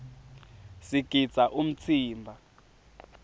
sigidza umtsimba